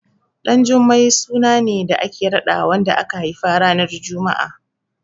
Ɗanjummai suna ne da ake raɗawa wanda aka haifa ranar Juma'a.